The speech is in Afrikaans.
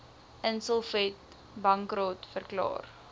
insolvent bankrot verklaar